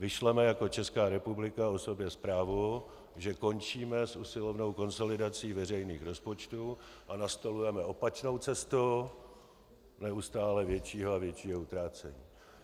Vyšleme jako Česká republika o sobě zprávu, že končíme s usilovnou konsolidací veřejných rozpočtů a nastolujeme opačnou cestu neustále většího a většího utrácení.